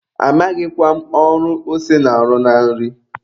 Amaghịkwa m ọrụ ose na-arụ na nri.